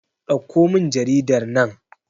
dauko min jaridar nan!